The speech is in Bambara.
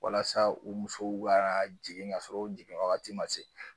Walasa u musow ka jigin ka sɔrɔ o jigin wagati man se.